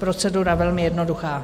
Procedura velmi jednoduchá.